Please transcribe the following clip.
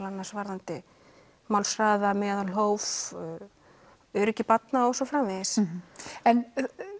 annars varðandi málshraða meðalhóf öryggi barna og svo framvegis en